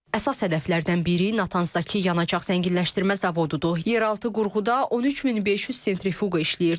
Əsas hədəflərdən biri Natansdakı yanacaq zənginləşdirmə zavodudur, yerüstü qurğuda 13500 sentrifuqa işləyirdi.